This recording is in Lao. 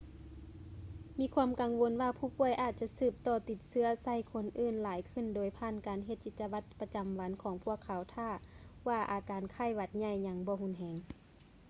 ມີຄວາມກັງວົນວ່າຜູ້ປ່ວຍອາດຈະສືບຕໍ່ຕິດເຊື້ອໃສ່ຄົນອື່ນຫຼາຍຂຶ້ນໂດຍຜ່ານການເຮັດກິດຈະວັດປະຈຳວັນຂອງພວກເຂົາຖ້າວ່າອາການໄຂ້ຫວັດໃຫຍ່ຍັງບໍ່ຮຸນແຮງ